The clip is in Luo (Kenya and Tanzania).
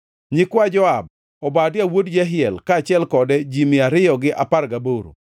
nyikwa Joab, Obadia wuod Jehiel, kaachiel kode ji mia ariyo gi apar gaboro;